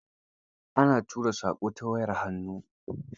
Ana tura saƙo ta wayar hannu.